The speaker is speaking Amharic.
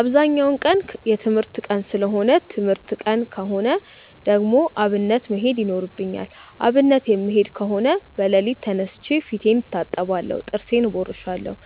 አብዛኛው ቀን የትምህርት ቀን ሰለሆነ ትምህርት ቀን ከሆነ ደግሞ አብነት መሄድ ይኖርብኛል። አብነት የምሄድ ከሆነ በለሊቱ ተነስቼ ፊቴን እታጠባለሁ ጥርሴን እቦርሻለው።